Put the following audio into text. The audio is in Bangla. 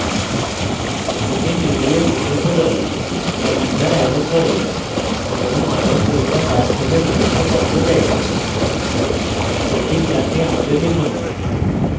spoken tutorial প্রকল্প the কর্মশালার আয়োজন করে এবং online পরীক্ষা পাস করলে প্রশংসাপত্র দেওয়া হয় অধিক জানতে আমাদের লিখুন